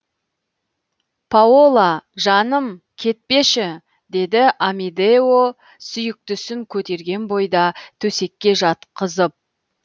паола жаным кетпеші деді амедео сүйіктісін көтерген бойда төсекке жатқызып